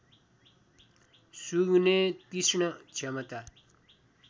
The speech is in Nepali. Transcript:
सुँघ्ने तिक्ष्ण क्षमता